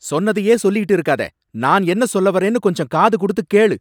சொன்னதையே சொல்லிட்டு இருக்காத! நான் என்ன சொல்ல வரேன்னு கொஞ்சம் காது கொடுத்து கேளு.